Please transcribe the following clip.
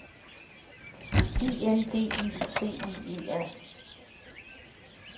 I N D I C I E R